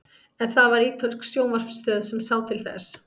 en það var ítölsk sjónvarpsstöð sem sá til þess